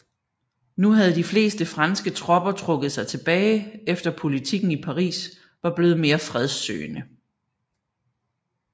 Nu havde de fleste franske tropper trukket sig tilbage efter politikken i Paris var blevet mere fredssøgende